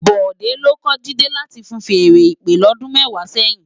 Bode ló kò Jide láti fúùn fèèrè ìpè lòdún mèwá sèyin